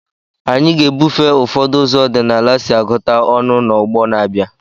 Anyị ga-ebufe ụfọdụ ụzọ ọdịnala si agụta ọnụ n'ọgbọ na-abịa.